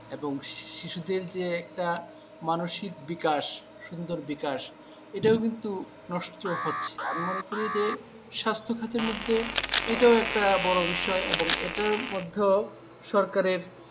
এবং শিশুদের য়ে একটা মানসিক বিকাশ সুন্দর বিকাশ এটাও কিন্তু নষ্ট হচ্ছে আমি মনে করি যে স্বাস্থ্য খাতের মধ্যে এটা একটা বড় বিষয় এবং এটার মধ্যেও সরকারের